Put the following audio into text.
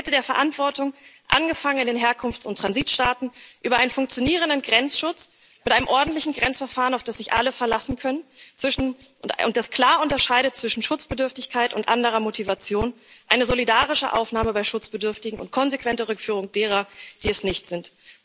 Eine Kette der Verantwortung, angefangen in den Herkunfts und Transitstaaten, über einen funktionierenden Grenzschutz mit einem ordentlichen Grenzverfahren, auf das sich alle verlassen können und das klar unterscheidet zwischen Schutzbedürftigkeit und anderer Motivation, eine solidarische Aufnahme bei Schutzbedürftigen und konsequente Rückführung derer, die es nicht sind.